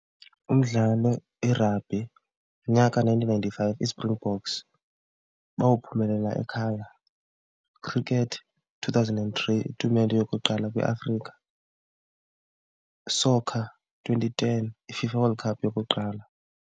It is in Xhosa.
Umdlalo i-rugby unyaka nineteen ninety-five iSpringboks bawuphumelela ekhaya. Cricket two thousand and three, itumente yokuqala kwiAfrika. Soccer twenty-ten, iFIFA World Cup yokuqala.